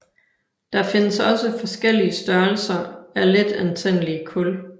Der findes også forskellige størrelse af letantændelige kul